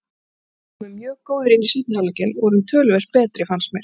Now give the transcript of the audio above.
Við komum mjög góðir inn í seinni hálfleikinn og vorum töluvert betri fannst mér.